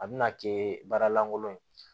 A bɛna kɛ baara lankolon ye